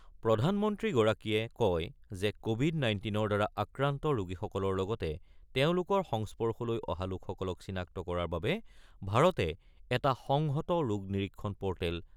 প্ৰধানমন্ত্ৰীগৰাকীয়ে কয় যে কোৱিড-নাইণ্টিনৰ দ্বাৰা আক্ৰান্ত ৰোগীসকলৰ লগতে তেওঁলোকৰ সংস্পৰ্শলৈ অহা লোকসকলক চিনাক্ত কৰাৰ বাবে ভাৰতে এটা সংহত ৰোগ নিৰীক্ষণ প'ৰ্টেল